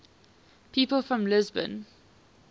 people from lisbon